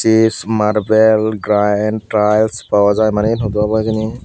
chip marbel granite tiles pawajai manay iane hudu obow hejani.